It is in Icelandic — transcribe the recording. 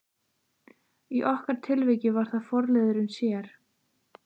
Í okkar tilviki var það forliðurinn sér.